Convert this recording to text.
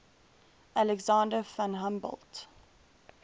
alexander von humboldt